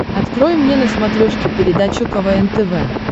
открой мне на смотрешке передачу квн тв